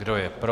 Kdo je pro?